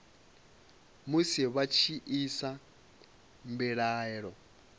musi vha tshi isa mbilaelo